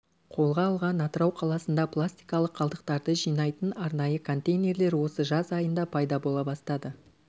қолға алған атырау қаласында пластикалық қалдықтарды жинайтын арнайы контейнерлер осы жаз айында пайда бола бастады